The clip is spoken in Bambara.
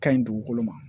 Ka ɲi dugukolo ma